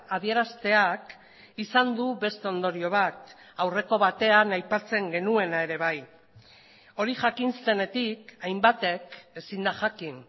adierazteak izan du beste ondorio bat aurreko batean aipatzen genuena ere bai hori jakin zenetik hainbatek ezin da jakin